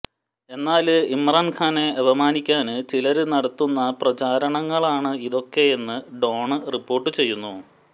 എന്നാല് ഇമ്രാന്ഖാനെ അപമാനിക്കാന് ചിലര് നടത്തുന്ന പ്രചാരണങ്ങളാണ് ഇതൊക്കെയെന്ന് ഡോണ് റിപ്പോര്ട്ട് ചെയ്യുന്നു